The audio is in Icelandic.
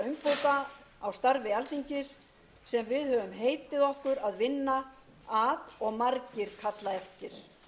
umbóta á starfi alþingis sem við höfum heitið okkur að vinna að og margir kalla eftir